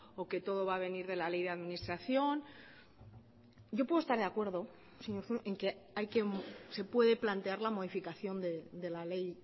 o que todo va a venir de la ley de administración yo puedo estar de acuerdo en que se puede plantear la modificación de la ley